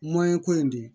ko in de